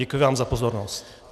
Děkuji vám za pozornost.